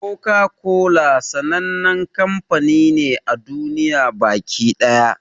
Koka-kola sannan kamfani ne a duniya baki ɗaya.